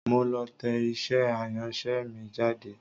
Mo lọ tẹ iṣẹ́ àyànṣe mi jáde.